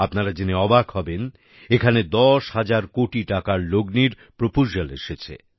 আপনারা জেনে অবাক হবেন এখানে দশ হাজার কোটি টাকার লগ্নির প্রপোজালস এসেছে